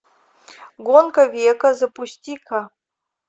гонка века запусти ка